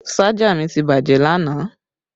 Ṣájà mi ti bàjẹ́ lánàá